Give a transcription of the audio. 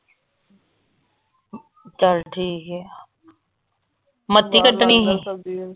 ਚਲ ਠੀਕ ਆ ਕੱਟਣੀ ਸੀ।